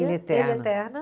Ilha Eterna. Ilha Eterna.